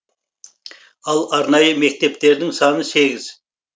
ал арнайы мектептердің саны сегіз